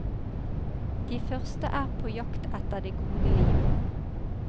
De første er på jakt etter det gode liv.